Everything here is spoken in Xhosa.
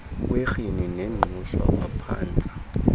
kwerhini nengqushwa waphantsa